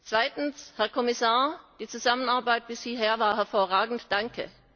Zweitens Herr Kommissar, die Zusammenarbeit bisher war hervorragend! Danke!